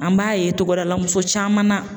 An b'a ye togodala muso caman na